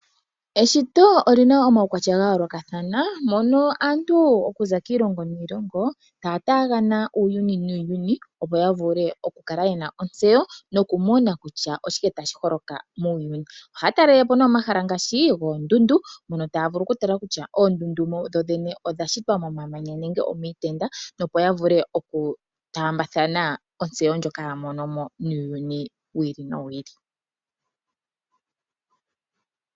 Eshito oli na omaukwatya ga yoolokathana mono aantu okuza kiilongo niilongo taya taakana uuyuni nuuyuni, opo ya vule okukala ye na ontseyo nokumona kutya oshike tashi holoka muuyuni. Ohaya talele po nduno omahala ngaashi goondundu mono taya vulu okutala kutya oondundu dhodhene odha shitwa momamanya nenge omiitenda, opo ya vule okutaambathana ontseyo ndjoka ya mono mo muuyuni wi ili nowi ili.